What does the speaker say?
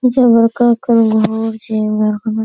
का लोग छे ई में --